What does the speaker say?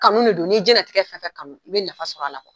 Kanu de don n'i ye diɲɛnnatigɛ fɛn o fɛn kanu, i bɛ nafa sɔrɔ a la kuwa!